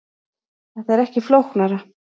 Þetta er ekki flóknara